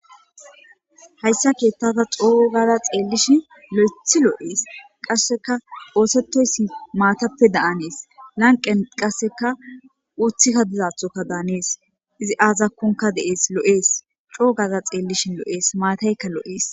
Hayssa keettata xoo gaza xeellishi lo'ethi loo'ees qasseka oosetoyssi maatappe daanees lanqen qasseka uuthikka dizathoka daanees izi aazakkonka deees lo'ees coo gaza xeellishi lo'ees maatayka lo'ees.